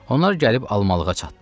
Onlar gəlib almalığa çatdılar.